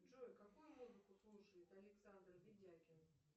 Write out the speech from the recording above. джой какую музыку слушает александр видякин